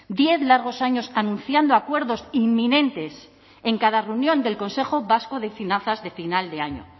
diez largos años anunciando acuerdos inminentes en cada reunión del consejo vasco de finanzas de final de año